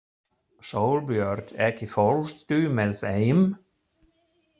Sólbjört, ekki fórstu með þeim?